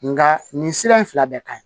Nga nin sira in fila bɛɛ ka ɲi